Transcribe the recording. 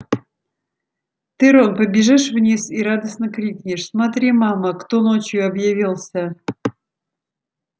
ты рон побежишь вниз и радостно крикнешь смотри мама кто ночью объявился